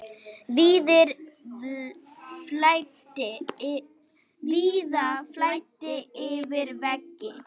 Víða flæddi yfir vegi.